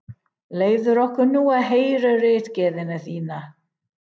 Leyfðu okkur nú að heyra ritgerðina þína!